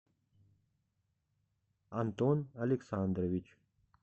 антон александрович